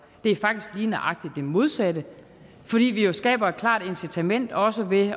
det er faktisk lige nøjagtig det modsatte fordi vi jo skaber et klart incitament også ved